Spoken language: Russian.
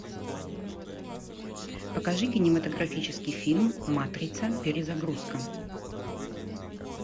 покажи кинематографический фильм матрица перезагрузка